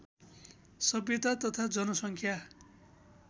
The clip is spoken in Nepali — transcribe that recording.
सभ्यता तथा जनसङ्ख्या